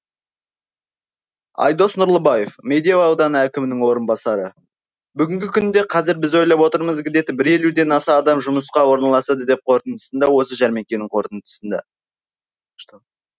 айдос нұрлыбаев медеу ауданы әкімінің орынбасары бүгінгі күнде қазір біз ойлап отырмыз гідеті бір елуден аса адам жұмысқа орналасады деп қорытындысында осы жәрмеңкенің қорытындысында